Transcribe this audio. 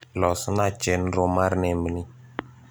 losna chenro mar nembni